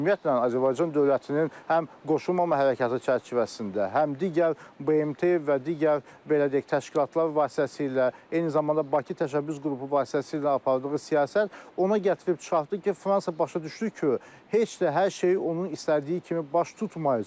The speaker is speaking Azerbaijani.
Ümumiyyətlə, Azərbaycan dövlətinin həm qoşulmama hərəkatı çərçivəsində, həm digər BMT və digər belə deyək təşkilatlar vasitəsilə, eyni zamanda Bakı təşəbbüs qrupu vasitəsilə apardığı siyasət ona gətirib çıxartdı ki, Fransa başa düşdü ki, heç də hər şey onun istədiyi kimi baş tutmayacaq.